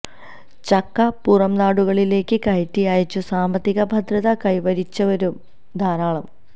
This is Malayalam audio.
ചക്ക പുറംനാടുകളിലേക്ക് കയറ്റി അയച്ചു സാമ്പത്തിക ഭദ്രത കൈവരിച്ചവരും ധാരാളം